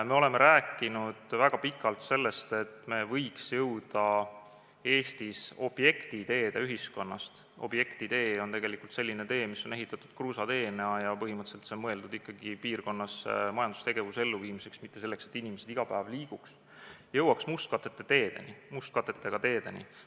Me oleme rääkinud väga pikalt sellest, et me võiks jõuda Eestis objektiteede ühiskonnast – objektitee on selline tee, mis on ehitatud kruusateena ja see on mõeldud ikkagi piirkonna majandustegevuse jaoks, mitte selleks, et inimesed seal iga päev liiguks – mustkattega teedeni.